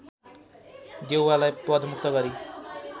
देउवालाई पदमुक्त गरी